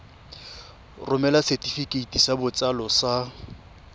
romela setefikeiti sa botsalo sa